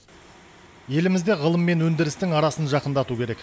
елімізде ғылым мен өндірістің арасын жақындату керек